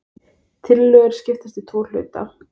Tillögurnar skiptast í tvo hluta